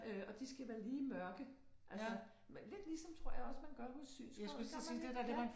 Øh og de skal være lige mørke altså lidt ligesom tror jeg også man gør hos synsråddet gør man ikke ja